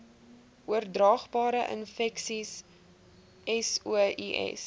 oordraagbare infeksies sois